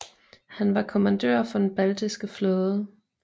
Han var kommandør for den baltiske flåde